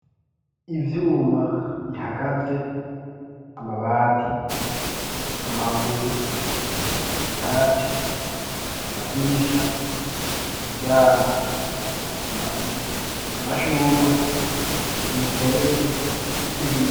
Ivyuma bihagaze amabati amabuya vyatsi amadirisha imiryango amashurwe imiserege n'ibindi.